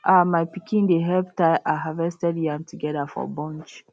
um my pikin dey help tie um harvested yam together for bunch